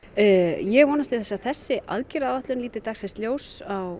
ég vonast til þess að þessi aðgerðaáætlun líti dagsins ljós á